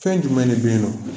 Fɛn jumɛn de beyi nɔ